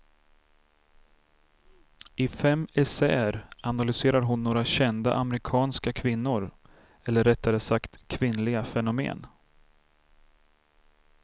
I fem essäer analyserar hon några kända amerikanska kvinnor, eller rättare sagt kvinnliga fenomen.